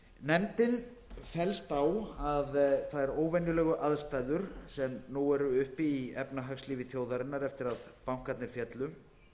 nefndin fellst á að þær óvenjulegar aðstæður sem nú eru uppi í efnahagslífi þjóðarinnar eftir að bankarnir féllu